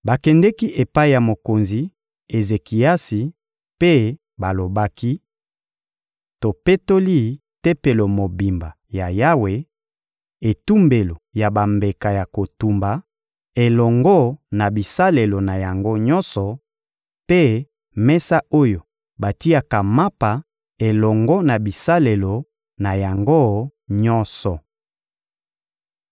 Bakendeki epai ya mokonzi Ezekiasi mpe balobaki: — Topetoli Tempelo mobimba ya Yawe, etumbelo ya bambeka ya kotumba elongo na bisalelo na yango nyonso, mpe mesa oyo batiaka mapa elongo na bisalelo na yango nyonso.